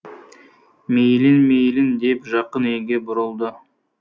мейлің мейлің деп жақын үйге бұрылды